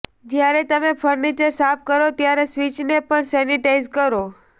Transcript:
જ્યારે તમે ફર્નિચર સાફ કરો ત્યારે સ્વિચને પણ સેનિટાઈઝ કરો